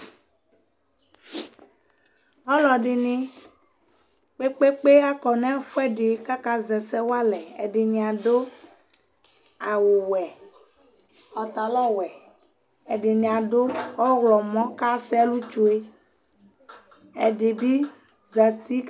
ɔlɔdini kpekpekpe akɔnʋ ɛƒʋɛdi kʋ aka zɛ ɛsɛ walɛ, ɛdini adʋ awʋ wɛ, pantalon wɛ, ɛdini adʋ ɔwlɔmɔ kʋ asɛɛlʋ twɛ, ɛdibi zati